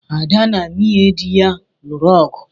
Ada na nwunye di ya lụrụ ọgu